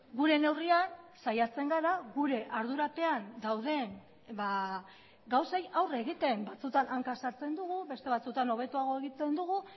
gure neurrian saiatzen gara gure ardurapean dauden gauzei aurre egiten batzutan hanka sartzen dugu beste batzutan hobetoago egiten dugu